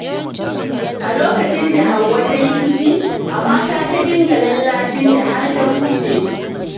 A lokacin da Hauwa ta yi fushi, Amaka ta dinga lallashinta har ta huce.